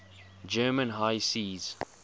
german high seas